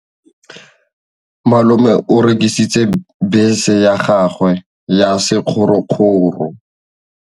Malome o rekisitse bese ya gagwe ya sekgorokgoro.